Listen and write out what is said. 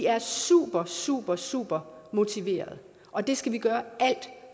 er super super super motiverede og det skal vi gøre alt